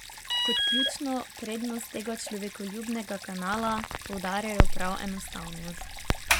Kot ključno prednost tega človekoljubnega kanala poudarjajo prav enostavnost.